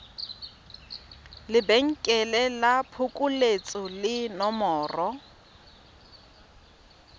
lebenkele la phokoletso le nomoro